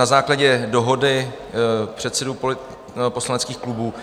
Na základě dohody předsedů poslaneckých klubů